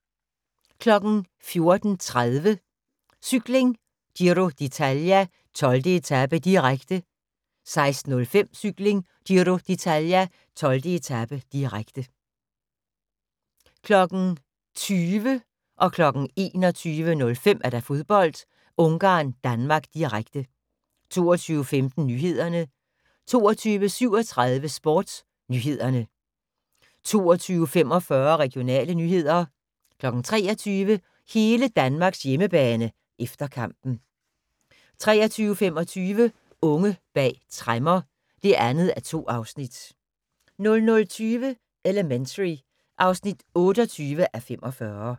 14:30: Cykling: Giro d'Italia, 12. etape, direkte 16:05: Cykling: Giro d'Italia, 12. etape, direkte 20:00: Fodbold: Ungarn-Danmark, direkte 21:05: Fodbold: Ungarn-Danmark, direkte 22:15: Nyhederne 22:37: SportsNyhederne 22:45: Regionale nyheder 23:00: Hele Danmarks hjemmebane – efter kampen 23:25: Unge bag tremmer (2:2) 00:20: Elementary (28:45)